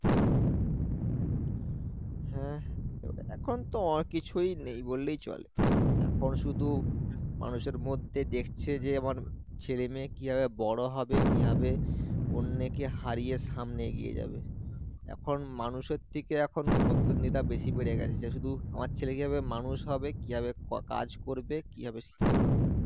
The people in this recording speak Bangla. এখন মানুষের থেকে এখন বেশি বেড়ে গেছে যারা শুধু আমার ছেলে কিভাবে মানুষ হবে কিভাবে কাজ করবে কিভাবে কি করবে